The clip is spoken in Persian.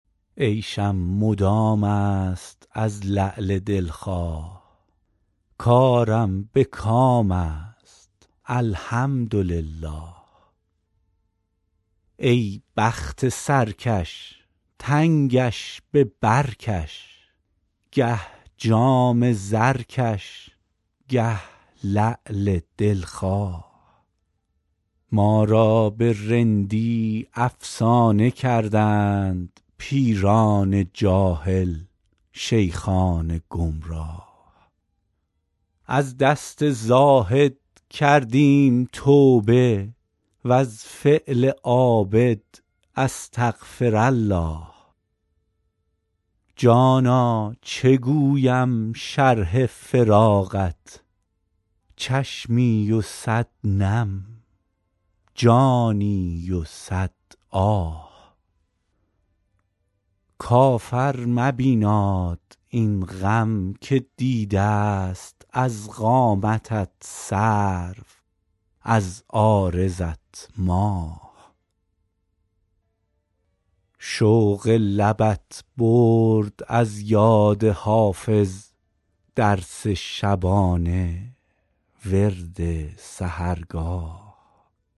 عیشم مدام است از لعل دل خواه کارم به کام است الحمدلله ای بخت سرکش تنگش به بر کش گه جام زرکش گه لعل دل خواه ما را به رندی افسانه کردند پیران جاهل شیخان گمراه از دست زاهد کردیم توبه و از فعل عابد استغفرالله جانا چه گویم شرح فراقت چشمی و صد نم جانی و صد آه کافر مبیناد این غم که دیده ست از قامتت سرو از عارضت ماه شوق لبت برد از یاد حافظ درس شبانه ورد سحرگاه